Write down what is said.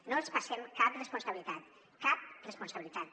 no els passem cap responsabilitat cap responsabilitat